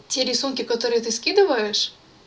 те рисунки которые ты скидываешь